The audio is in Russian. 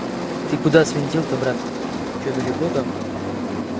ты куда свинтил то братка что далеко там